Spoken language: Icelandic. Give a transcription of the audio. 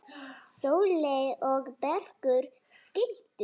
Sóley og Bergur skildu.